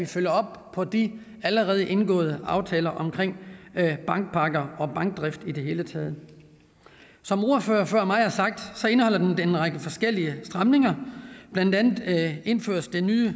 følger op på de allerede indgåede aftaler omkring bankpakker og bankdrift i det hele taget som ordføreren før mig har sagt indeholder det en række forskellige stramninger blandt andet indføres det nye